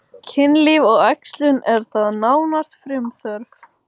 Kynlíf og æxlun er þar nánast frumþörf.